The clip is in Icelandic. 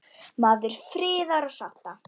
Maður friðar og sátta.